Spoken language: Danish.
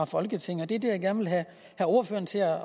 folketinget det er det jeg gerne vil have ordføreren til at